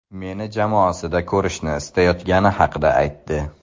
Meni jamoasida ko‘rishni istayotgani haqida aytdi.